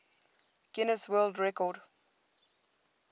guinness world record